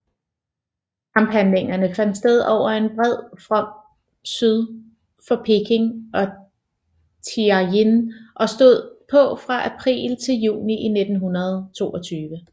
Kamphandlingerne fandt sted over en bred fromt syd for Peking og Tianjin og stod på fra april til juni 1922